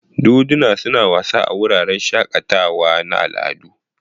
Doduna suna wasa a wuraren shakatawa na al'adu.